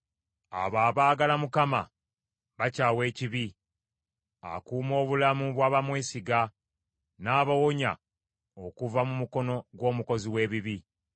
Abo abaagala Mukama bakyawa ekibi, akuuma obulamu bw’abamwesiga, n’abawonya okuva mu mukono gw’omukozi w’ebibi.